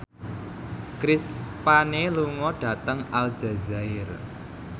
Chris Pane lunga dhateng Aljazair